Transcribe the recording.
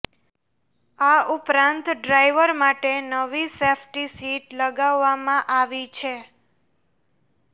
આ ઉપરાંત ડ્રાઈવર માટે નવી સેફ્ટી સીટ લગાવવામાં આવી છે